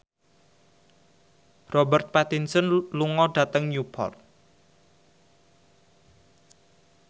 Robert Pattinson lunga dhateng Newport